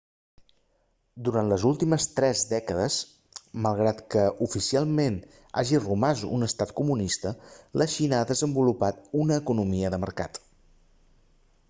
durant les últimes tres dècades malgrat que oficialment hagi romàs un estat comunista la xina ha desenvolupat una economia de mercat